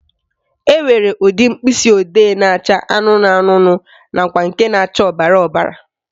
Enwere ụdị mkpịsịodee na-acha anụnụ anụnụ nakwa na ọbara ọbara